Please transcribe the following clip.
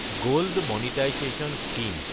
gold monetisation scheme